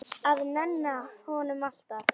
Að nenna honum, alltaf.